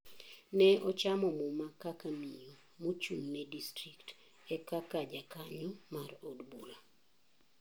Ne ochamo muma kaka miyo mochung ne district e kaka jakanyo mar od bura.